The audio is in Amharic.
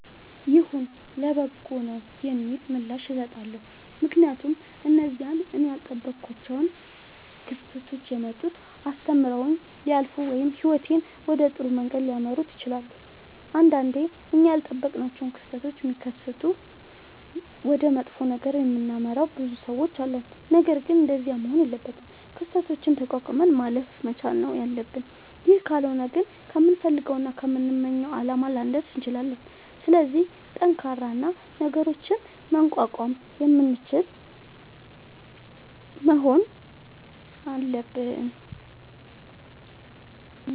ይሁን ለበጎ ነዉ የሚል ምላሽ እሠጣለሁ። ምክንያቱም እነዚያ እኔ ያልጠበኳቸዉ ክስተቶች የመጡት አስተምረዉኝ ሊያልፉ ወይም ህይወቴን ወደ ጥሩ መንገድ ሊመሩት ይችላሉ። ንዳንዴ እኛ ያልጠበቅናቸዉ ክስተቶች ሢከሠቱ ወደ መጥፎ ነገር የምናመራ ብዙ ሠዎች አለን። ነገርግን እንደዚያ መሆን የለበትም። ክስተቶችን ተቋቁመን ማለፍ መቻል ነዉ ያለብን ይህ ካልሆነ ግን ከምንፈልገዉና ከምንመኘዉ አላማ ላንደርስ እንችላለን። ስለዚህ ጠንካራ እና ነገሮችን መቋቋም የምንችል መሆን አለብን።